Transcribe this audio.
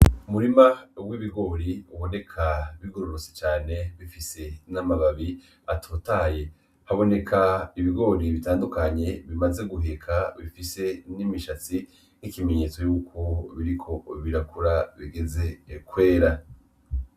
Umurima uwo ibigori uboneka bigororotse cane bifise n'amababi atotaye haboneka ibigori bitandukanye bimaze guheka bifise n'imishatsi nk'ikimenyetso yuko biriko birakura bigeze kwera.